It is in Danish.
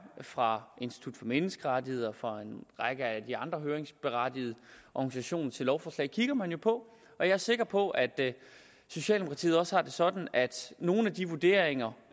fra institut for menneskerettigheder fra en række af de andre høringsberettigede organisationer til det lovforslag kigger man jo på og jeg er sikker på at socialdemokratiet også har det sådan at nogle af de vurderinger